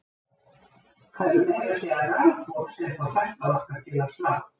Það eru meira að segja rafboð sem fá hjartað okkar til að slá!